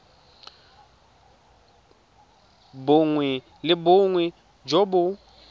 bongwe le bongwe jo bo